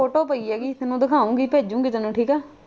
photo ਪਈ ਹੈਗੀ ਤੈਨੂੰ ਦਿਖਾਉਣ ਦੀ ਭੇਜੋਗੀ ਤੈਨੂੰ ਠੀਕ ਆ।